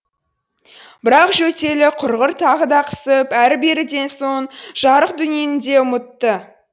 бірақ жөтелі құрғыр тағы да қысып әрі беріден соң жарық дүниені де ұмытты